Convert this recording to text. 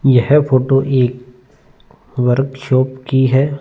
यह फोटो एक वर्कशॉप की है।